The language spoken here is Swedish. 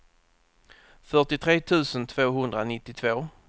fyrtiotre tusen tvåhundranittiotvå